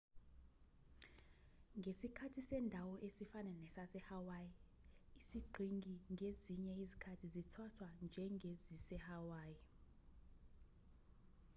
ngesikhathi sendawo esifana nesasehawaii iziqhingi ngezinye izikhathi zithathwa njengezisehawaii